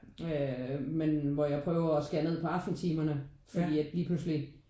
Øh men hvor jeg prøver at skære ned på aftentimerne fordi at lige pludselig